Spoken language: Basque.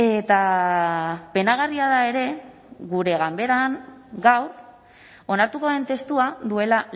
eta penagarria da ere gure ganberan gaur onartuko den testua duela